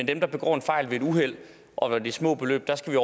dem der begår en fejl ved et uheld og når det er små beløb skal